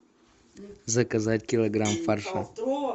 заказать килограмм фарша